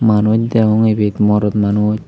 manuj degong ibet morot manuj.